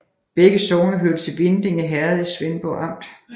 Begge sogne hørte til Vindinge Herred i Svendborg Amt